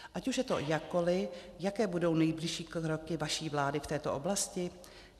Ať už je to jakkoli, jaké budou nejbližší kroky vaší vlády v této oblasti?